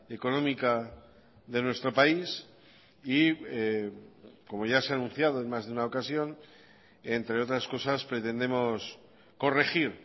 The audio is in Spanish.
económica de nuestro país y como ya se ha anunciado en más de una ocasión entre otras cosas pretendemos corregir